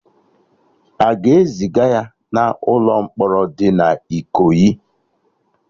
Aga ezịga ya na ụlọ mkpọrọ dị na Ikoyi?